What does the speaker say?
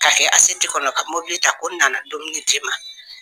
K'a kɛ kɔnɔ ka mobili ta ko n nana dumuni d'i ma